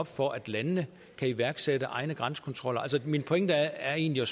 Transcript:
for at landene kan iværksætte egne grænsekontroller altså min pointe er egentlig i